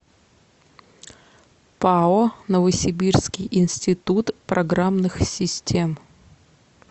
пао новосибирский институт программных систем